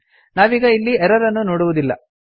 ನಾವೀಗ ಇಲ್ಲಿ ಎರರ್ ಅನ್ನು ನೋಡುವುದಿಲ್ಲ